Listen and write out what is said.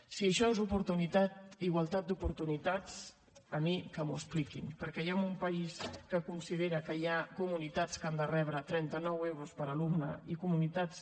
si això és igualtat d’oportunitats a mi que m’ho expliquin perquè jo en un país que considera que hi ha comunitats que han de rebre trenta nou euros per alumne i comunitats